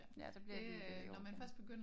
Ja så bliver det bliver det i overkanten